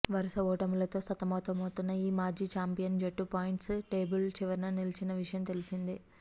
వరుస ఓటములతో సతమతమవుతున్న ఈ మాజీ ఛాంపియన్ జట్టు పాయింట్స్ టేబుల్ చివరన నిలిచిన విషయం తెలిసిందే